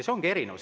See ongi erinevus.